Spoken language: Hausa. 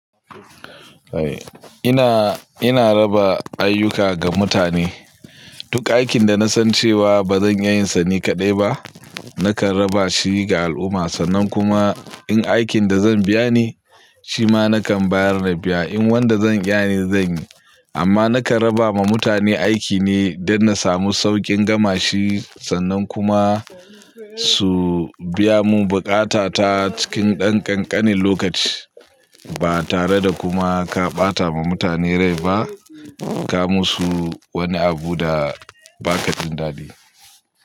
Eh ina, ina raba ayyuka ga mutane. Duk aikin da na san cewa ba zan iya yin sa ni kaɗai ba, nakan raba shi ga al'umma, sannan kuma in aikin da zan biya ne, shi ma nakan bayar na biya din. In wanda zan iya ne zan yi, amma nakan raba wa mutane aiki ne don na samu saukin gama shi, sannan kuma su biya mun bukata ta cikin ɗan ƙanƙanin lokaci. Ba tare da kuma ka ɓata ma mutane rai ba, ka musu wani abu da ba ka jin dadi.